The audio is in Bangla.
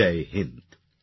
জয় হিন্দ